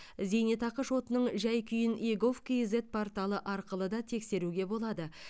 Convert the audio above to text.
зейнетақы шотының жай күйін егов кизет порталы арқылы да тексеруге болады